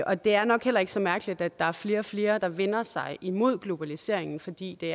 og det er nok heller ikke så mærkeligt at der er flere og flere der vender sig imod globaliseringen fordi det